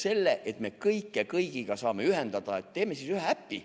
Selleks, et me saaks kõike kõigiga ühendada, teeme ühe äpi.